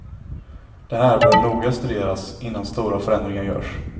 Det här bör noga studeras innan stora förändringar görs.